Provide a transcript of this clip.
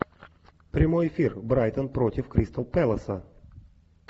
прямой эфир брайтон против кристал пэласа